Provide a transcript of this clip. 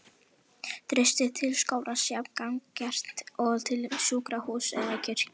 Traustið til skólans jafn gagngert og til sjúkrahúss eða kirkju.